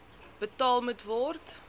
betaal moet word